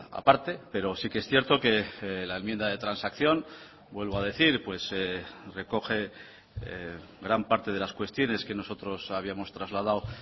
a parte pero sí que es cierto que la enmienda de transacción vuelvo a decir recoge gran parte de las cuestiones que nosotros habíamos trasladado